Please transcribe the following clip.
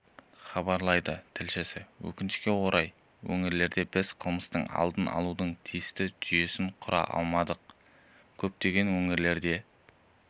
хабарлайды тілшісі өкінішке орай өңірлерде біз қылмысты алдын алудың тиісті жүйесін құра алмадық көптеген өңірлерде